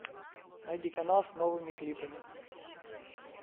найди канал с новыми клипами